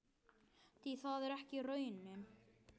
Því það er ekki raunin.